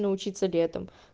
научиться летом